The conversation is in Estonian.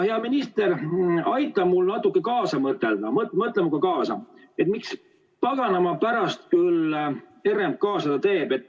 Hea minister, aita natuke kaasa mõtelda, mõtle minuga kaasa: miks paganama pärast küll RMK seda teeb?